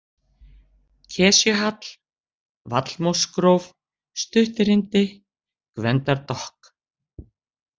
Kesjuhall, Vallmósgróf, Stuttirindi, Gvendardokk